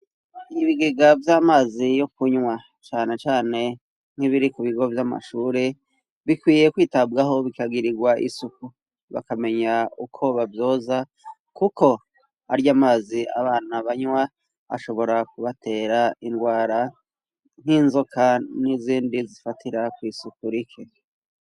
Ibigega vy'amazi yo kunwa cane cane nk'ibiri ku bigo vy'amashure bikwiye kwitabwaho bikagirirwa isuku bakamenya uko bavyoza kuko arya mazi abana banwa ashobora kubatera ingwara nk'inzoka n'izindi zifatira ku isuku rike.